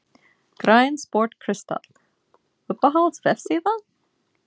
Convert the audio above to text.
Grænn sport kristall Uppáhalds vefsíða?